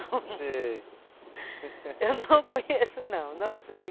Eu não conheço não, não sei.